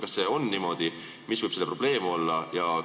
Kas see on niimoodi ja mis võib siin probleem olla?